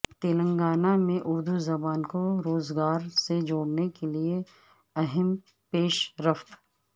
تلنگانہ میں اردو زبان کو روزگار سے جوڑنے کے لیے اہم پیشرفت